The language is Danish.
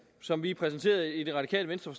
som vi præsenterede i det radikale venstre